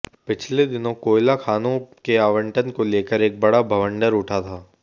पिछले दिनों कोयला खानों के आवंटन को लेकर एक बड़ा बवंडर उठा था